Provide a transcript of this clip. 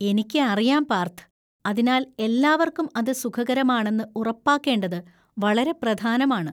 എനിക്ക് അറിയാം പാർഥ്, അതിനാൽ എല്ലാവർക്കും അത് സുഖകരമാണെന്ന് ഉറപ്പാക്കേണ്ടത് വളരെ പ്രധാനമാണ്.